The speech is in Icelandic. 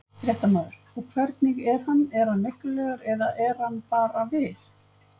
Fréttamaður: Og hvernig er hann, er hann veiklulegur eða er hann bara við?